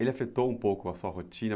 ele afetou um pouco a sua rotina?